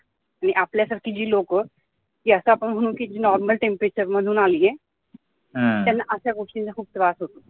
आणि आपल्यासाठी जी लोक जी normal temperature मधून आली आहे त्यांना अशा गोष्टीचा खूप त्रास होतो